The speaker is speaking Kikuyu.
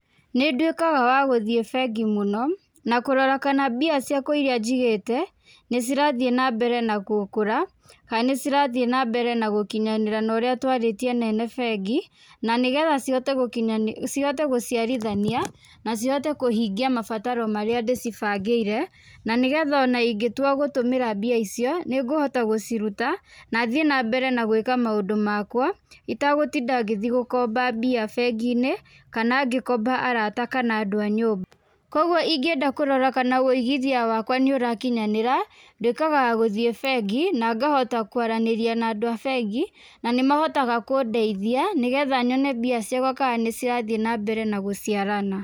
Nĩ nduĩkaga wa gũthiĩ bengi mũno na kũrora kana mbia ciakwa irĩa njigĩte nĩ cirathiĩ nambere na gũkũra kana ni cirathiĩ nambere na gũkinyanĩra na ũrĩa twarĩtie na ene bengi, na nĩgetha cihote gũciarithania na cihote kũhingia mabataro marĩa ndĩcibangĩire na nĩgetha ona ingĩtua gũtũmĩra mbia icio nĩ ngũhota gũciruta na thiĩ na mbere na gwĩka maũndũ makwa itagũtinda gĩthiĩ gũkomba mbia bengi-inĩ kana ngĩkomba arata kana andũ a nyũmba. Kwoguo ingĩenda kũrora kana ũigithia wakwa nĩ ũrakinyanĩra nduĩkaga wa gũthiĩ bengi na ngahota kũaranĩria na andũ a bengi na nĩmahotaga kũndeithia nĩgetha nyone mbia ciakwa nĩ cirathiĩ nambere na gũciarana.